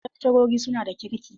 Wasu lakcarori suna da kirki.